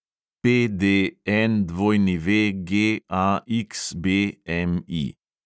PDNWGAXBMI